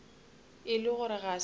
e le gore ga se